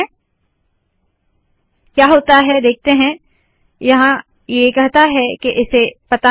और क्या होता है यह देखते है यहाँ ये कहता है के इसे पता नहीं